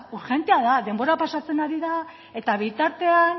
urgentea da denbora pasatzen ari da eta bitartean